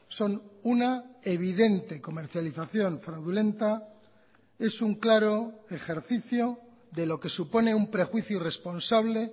son una evidente comercialización fraudulenta es un claro ejercicio de lo que supone un prejuicio irresponsable